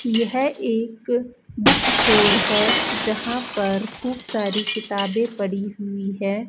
यह एक book store है जहां पर खूब सारी किताबें पड़ी हुई है।